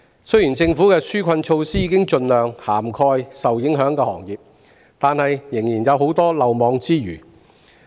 雖然政府的紓困措施已盡量涵蓋受影響的行業，但仍然有很多行業未能受惠。